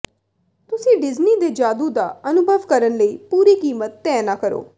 ਤੁਸੀਂ ਡਿਜਨੀ ਦੇ ਜਾਦੂ ਦਾ ਅਨੁਭਵ ਕਰਨ ਲਈ ਪੂਰੀ ਕੀਮਤ ਤੈਅ ਨਾ ਕਰੋ